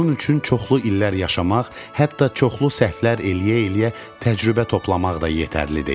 Bunun üçün çoxlu illər yaşamaq, hətta çoxlu səhvlər eləyə-eləyə təcrübə toplamaq da yetərli deyil.